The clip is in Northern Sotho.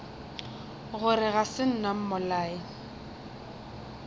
gore ga se nna mmolai